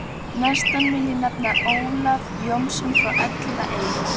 Næstan vil ég nefna Ólaf Jónsson frá Elliðaey.